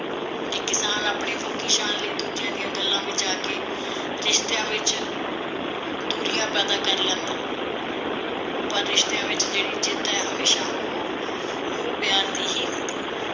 ਕਿ ਕਿਸਾਨ ਆਪਣੀ ਫੋਕੀ ਸ਼ਾਨ ਲਈ ਦੂਜਿਆਂ ਦੀਆਂ ਗੱਲਾਂ ਵਿਚ ਦੂਰੀਆਂ ਪੈਦਾ ਕਰ ਲੈਂਦਾ ਹੈ, ਪਰ ਰਿਸ਼ਤਿਆਂ ਵਿਚ ਜਿਹੜੀ ਜਿੱਤ ਹੈ ਹਮੇਸ਼ਾ ਉਹ ਮੋਹ ਪਿਆਰ ਦੀ ਹੀ ਹੁੰਦੀ ਹੈ